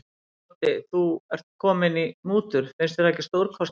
Doddi, þú ert kominn í mútur, finnst þér það ekki stórkostlegt.